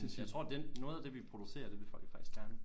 Jeg tror den noget af det vi producerer det vil folk faktisk gerne